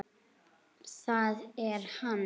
ÞAÐ ER HANN!